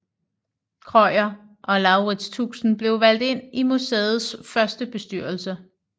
Krøyer og Laurits Tuxen blev valgt ind i museets første bestyrelse